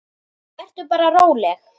Vertu bara róleg.